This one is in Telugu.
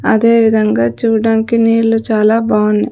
అదే విధంగా చూడడానికి నీళ్ళు చాలా బాగున్నాయి.